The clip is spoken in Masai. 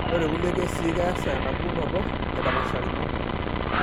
Ore tekulie kesii keesa enapukunoto aidapashakino.